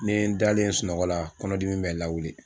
N' ye dalen ye sunɔgɔ la kɔnɔ dimi bɛ n lawili.